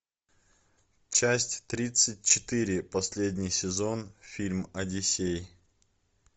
часть тридцать четыре последний сезон фильм одиссей